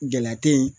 Gɛlɛya te yen